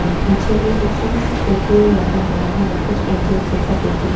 पीछे में एक छोटा सा टैटू लगा हुआ है वह कुछ एंजेल जैसा टैटू है।